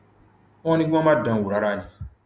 wọn ní kí wọn má dán an wò rárá ni